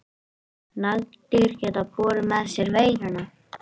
Nagdýr geta borið með sér veiruna.